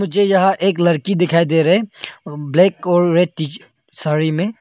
मुझे यहां एक लड़की दिखाई दे रहे है ब्लैक और रेड साड़ी में।